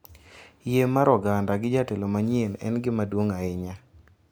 Yie mar oganda gi jatelo manyien en gima duong’ ahinya,